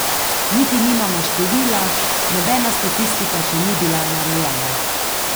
Niti nimamo števila, nobena statistika še ni bila narejena.